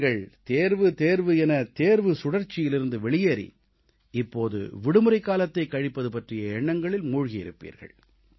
நீங்கள் தேர்வு தேர்வு எனத் தேர்வு சுழற்சியிலிருந்து வெளியேறி இப்போது விடுமுறைக்காலத்தைக் கழிப்பது பற்றிய எண்ணங்களில் மூழ்கியிருப்பீர்கள்